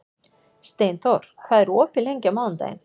Steinþór, hvað er opið lengi á mánudaginn?